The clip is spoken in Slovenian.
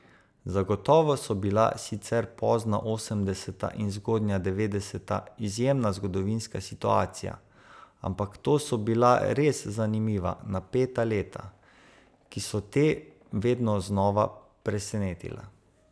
Zagotovo so bila sicer pozna osemdeseta in zgodnja devetdeseta izjemna zgodovinska situacija, ampak to so bila res zanimiva, napeta leta, ki so te vedno znova presenetila.